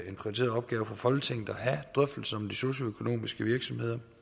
en prioriteret opgave for folketinget at have drøftelser om de socialøkonomiske virksomheder